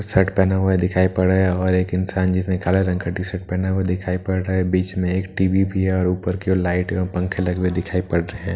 Shirt पहना हुआ है दिखाई पड़ रहा है और एक इंसान जिसने काले रंग का टी-शर्ट पहना हुआ है वो दिखाई पड़ रहा है बीच में एक टी.वी. भी है और ऊपर की ओर लाइट एवं पंखे लगे हुए दिखाई पड़ रहे है।